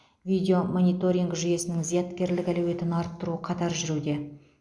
видеомониторинг жүйесінің зияткерлік әлеуетін арттыру қатар жүруде